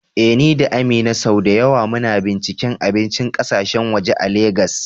Eh, ni da Amina sau da yawa muna binciken abincin kasashen waje a Legas.